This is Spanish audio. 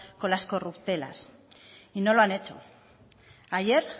con las corruptelas y no lo han hecho ayer